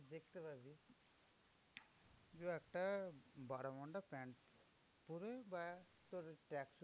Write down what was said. দু একটা bermuda pant পরে বা তোর tracksuit